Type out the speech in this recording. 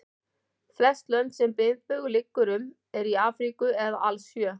Flest lönd sem miðbaugur liggur um eru í Afríku eða alls sjö.